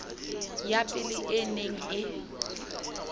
ya pele e neng e